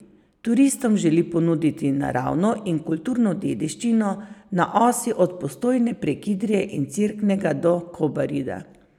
Turistom želi ponuditi naravno in kulturno dediščino na osi od Postojne prek Idrije in Cerknega do Kobarida.